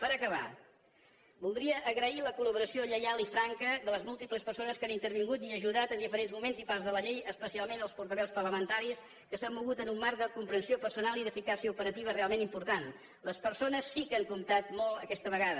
per acabar voldria agrair la col·laboració lleial i franca de les múltiples persones que han intervingut i ajudat en diferents moments i parts de la llei especialment als portaveus parlamentaris que s’han mogut en un marc de comprensió personal i d’eficàcia operativa realment important les persones sí que han comptat molt aquesta vegada